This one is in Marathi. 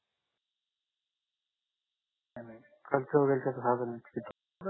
खर्च वगैरे किती होईल सहा जणांचा किती